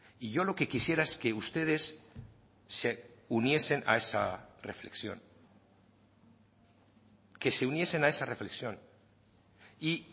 y yo lo que quisiera es que ustedes se uniesen a esa reflexión que se uniesen a esa reflexión y